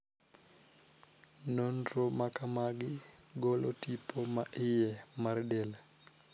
Nonro ma kamagi golo tipo ma iye mar del.